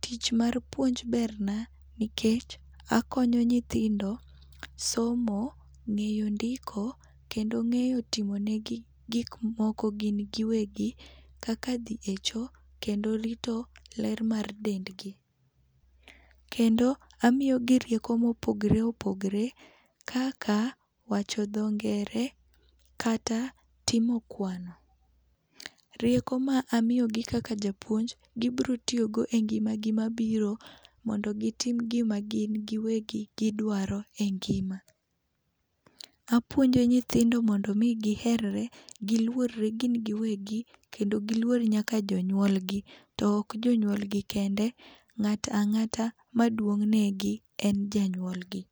Tich mar puonj berna nikech akonyo nyithindo somo, ng'eyo ndiko kendo ng'eyo timonegi gik moko gin giwegi kaka dhi echo, kendo rito ler mar dendgi. Kendo amiyogi rieko mopogre opogre kaka wacho dho ngere kata timo kwano. Rieko ma amiyogi kaka japuonj, gibiro tiyogo engima gi mabiro mondo gitim gima gin giwegi gidwaro engima. Apuonjo nyithindo mondo mi giher re, giluor re gin giwegi, kendo giluor nyaka jonyuol gi. To ok jonyuol gi kende, ng'ato ang'ata maduong' negi en janyuolgi.